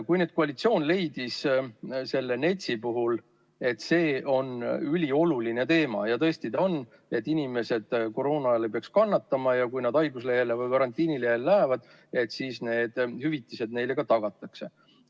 Nüüd koalitsioon leidis selle NETS-i puhul, et see on ülioluline teema – ja tõesti on –, et inimesed koroona ajal ei peaks kannatama ja kui nad haiguslehele või karantiinilehele lähevad, siis need hüvitised neile ka tagatakse.